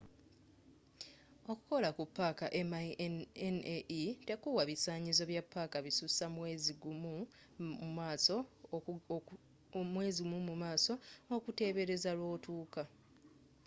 okukola ku paaka minae tekuwa bisanyizo bya paaka bisusa mwezi gummu mumaaso okutebereza lwotuuka